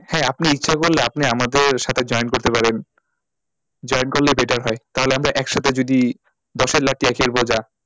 হ্যাঁ আপনি ইচ্ছা করলে আপনি আমাদের সাথে join করতে পারেন join করলে batter হয় তাহলে আমরা একসাথে যদি দশের লাঠি একের বোঝা,